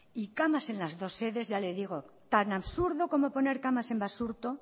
y camas en las dos sedes ya le digo tan absurdo como poner camas en basurto